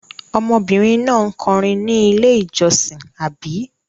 Ọmọbìnrin náà kọrin ní Ilé-ìjọsìn, àbí?